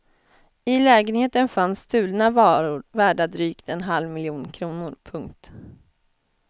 I lägenheten fanns stulna varor värda drygt en halv miljon kronor. punkt